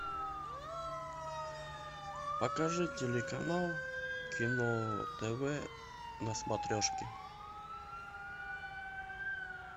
покажи телеканал кино тв на смотрешке